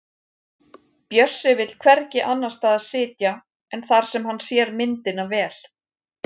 Bjössi vill hvergi annars staðar sitja en þar sem hann sér myndina vel.